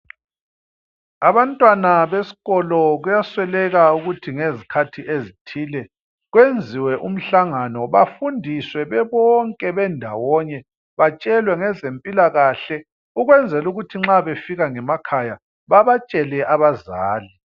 Abantwana beskolo kuyasweleka ukuthi ngezikhathi ezithile kwenziwe umhlangano bafundiswe bebonke bendawonye batshelwe ngezempilakahle ukwenzela ukuthi nxa befika emakhaya babatshele abazali